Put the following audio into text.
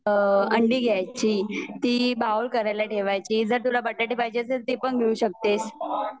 अंडी गघ्यायची ती बोइल करायला ठेवायची जर तुला बटाटे पाहिजे असेल तर ती पण घेऊ शकतेस